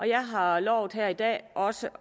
jeg har lovet her i dag også